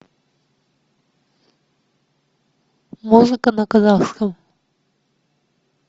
музыка на казахском